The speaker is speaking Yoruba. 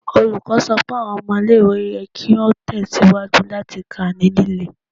Olukọni sọ pe awọn ọmọ ile-iwe yẹ ki o tẹsiwaju lati ka ni lile